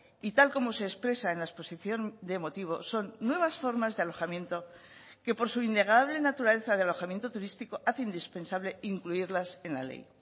y tal como se expresa en la exposición de motivos son nuevas formas de alojamiento que por su innegable naturaleza de alojamiento turístico hace indispensable incluirlas en la ley